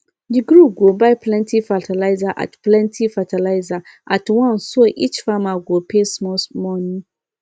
the group go buy plenty fertilizer at plenty fertilizer at once so each farmer go pay small money